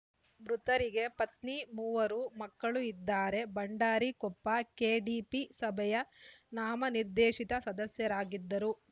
ಮೃತರಿಗೆ ಪತ್ನಿ ಮೂವರು ಮಕ್ಕಳು ಇದ್ದಾರೆ ಭಂಡಾರಿ ಕೊಪ್ಪ ಕೆಡಿಪಿ ಸಭೆಯ ನಾಮನಿರ್ದೇಶಿತ ಸದಸ್ಯರಾಗಿದ್ದರು